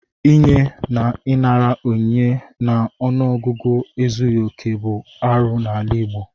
Inye na ịnara onyinye n'ọnụọgụgụ ezughị okè bụ arụ n'ala Igbo.